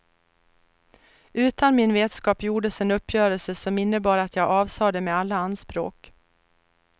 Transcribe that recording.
Utan min vetskap gjordes en uppgörelse som innebar att jag avsade mig alla anspråk.